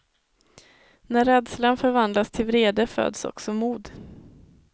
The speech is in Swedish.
När rädslan förvandlas till vrede föds också mod.